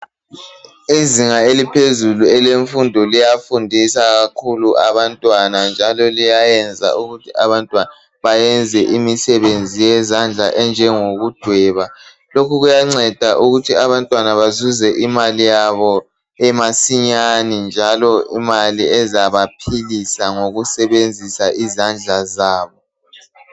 Izinga eliphezulu elemfundo liyafundisa kakhulu abantwana njalo liyayenza ukuthi abantwana bayenze imisebenzi yezandla enjengoku dweba lokhu kuyanceda ukuthi abantwana bezuze imali yabo masinyane njalo imali ezabaphilisa ngokusebenzisa izandla zabo.